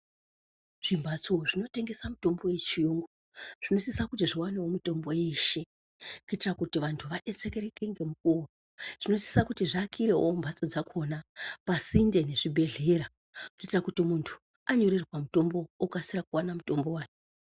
Zvimhatso zvinotengesa mitombo yechiyungu zvinosisa kuti zvivanevo mitombo yeshe. Kuitira kuti vantu vabetsereke ngemukuvo zvinosisa kuti zviakirevo mumhatso dzakona pasinde nezvibhedhlera. Kuitira kuti muntu anyorerwa mutombo okasira kuvana mutombo vake.